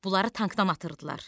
Bunları tankdan atırdılar.